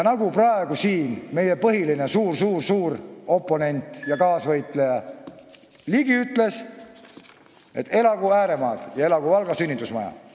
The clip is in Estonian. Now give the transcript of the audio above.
Nagu meie põhiline, suur-suur-suur oponent ja kaasvõitleja Ligi siin ütles: elagu ääremaad ja elagu Valga sünnitusmaja!